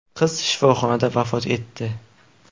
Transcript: Qiz shifoxonada vafot etdi.